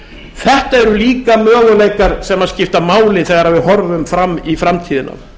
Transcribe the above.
þetta eru líka möguleikar sem skipta máli þegar við horfum fram í framtíðina